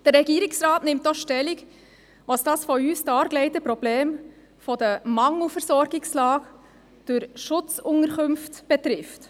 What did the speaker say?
Der Regierungsrat nimmt auch Stellung, was das von uns dargelegte Problem der Mangelversorgungslage durch Schutzunterkünfte betrifft.